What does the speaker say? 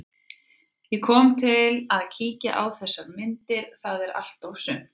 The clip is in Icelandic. Ég kom til að kíkja á þessar myndir, það er allt og sumt.